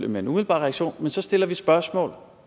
med en umiddelbar reaktion men så stiller vi spørgsmål